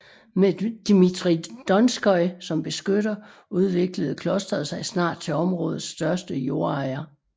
Med Dmitrij Donskoj som beskytter udviklede klosteret sig snart til områdets største jordejer